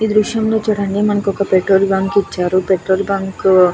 ఈ దృశ్యం లో చూడండి మనకి ఒక పెట్రోల్ బంక్ ఇచ్చారు ఈ పెట్రోల్ బంక్ --